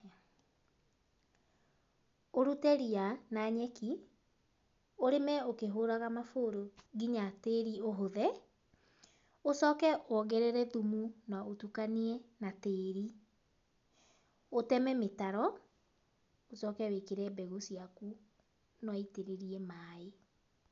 Ũrute ria na nyeki, ũrĩme ũkĩhũraga mabũrũ nginya tĩri ũhũthe, ũcoke wongerere thumu na ũtukanie na tĩri, ũteme mĩtaro, ũcoke wĩkĩre mbegũ ciaku na wũitirĩrie maĩ.